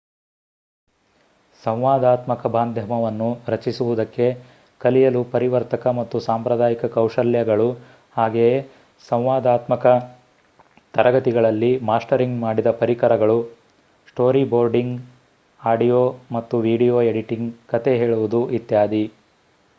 ಸಂವಾದಾತ್ಮಕ ಮಾಧ್ಯಮವನ್ನು ರಚಿಸುವುದಕ್ಕೆ ಕಲಿಯಲು ಪರಿವರ್ತಕ ಮತ್ತು ಸಾಂಪ್ರದಾಯಿಕ ಕೌಶಲ್ಯಗಳು ಹಾಗೆಯೇ ಸಂವಾದಾತ್ಮಕ ತರಗತಿಗಳಲ್ಲಿ ಮಾಸ್ಟರಿಂಗ್ ಮಾಡಿದ ಪರಿಕರಗಳು ಸ್ಟೋರಿಬೋರ್ಡಿಂಗ್ ಆಡಿಯೋ ಮತ್ತು ವಿಡಿಯೋ ಎಡಿಟಿಂಗ್ ಕಥೆ ಹೇಳುವುದು ಇತ್ಯಾದಿ